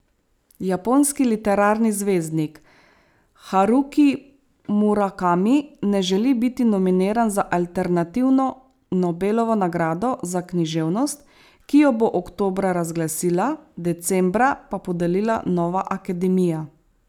Japonski literarni zvezdnik Haruki Murakami ne želi biti nominiran za alternativno Nobelovo nagrado za književnost, ki jo bo oktobra razglasila, decembra pa podelila Nova akademija.